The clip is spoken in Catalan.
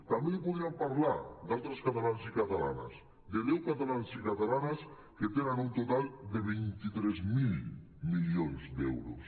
també li podríem parlar d’altres catalans i catalanes de deu catalans i catalanes que tenen un total de vint tres mil milions d’euros